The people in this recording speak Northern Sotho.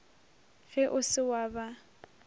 ge o se wa ba